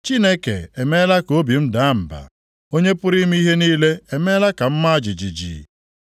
Chineke emeela ka obi m daa mba; Onye pụrụ ime ihe niile emeela ka m maa jijiji.